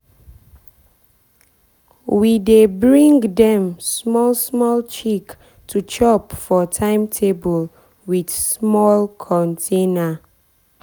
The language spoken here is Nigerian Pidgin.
we dey bring dem small small chick to chop for timetable with small container.